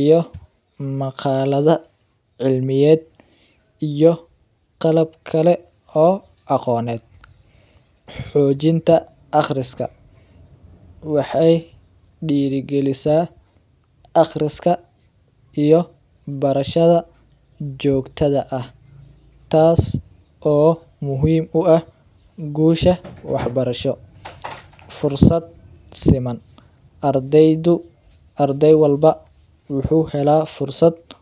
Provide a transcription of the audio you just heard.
iyo maqalada cilmiyeed iyo qalab kale ee aqooneed, xojinta aqriska, waxeey diiri galisa aqriska iyo barshada joogtada ah, taas oo muhiim u ah guusha wax barasho, fursad siman, ardeyda waxuu helaa fursada.